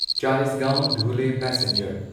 Chalisgaon Dhule passenger